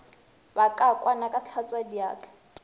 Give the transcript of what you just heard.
ba ka kwana ka hlatswadiatla